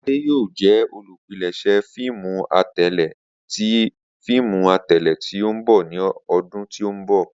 Ade yoo jẹ olupilẹṣẹ fiimu atẹle ti fiimu atẹle ti n bọ ni ọdun ti n bọ.